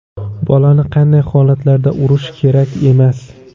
Bolani qanday holatlarda urishish kerak emas?.